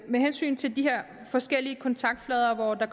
med hensyn til de her forskellige kontaktflader hvor der